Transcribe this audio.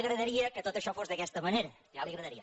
agradaria que tot això fos d’aquesta manera ja li agradaria